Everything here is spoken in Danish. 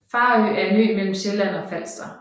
Farø er en ø mellem Sjælland og Falster